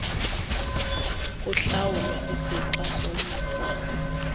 lokuhlawulwa isixa somvuzo